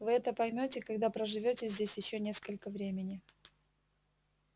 вы это поймёте когда проживёте здесь ещё несколько времени